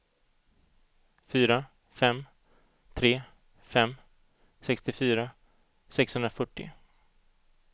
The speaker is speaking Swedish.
fyra fem tre fem sextiofyra sexhundrafyrtio